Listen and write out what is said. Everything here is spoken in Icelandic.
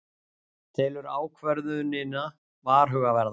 Telur ákvörðunina varhugaverða